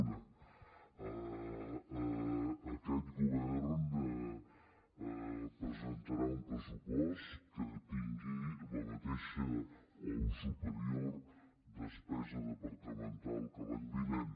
una aquest govern presentarà un pressupost que tingui la mateixa o superior despesa departamental l’any vinent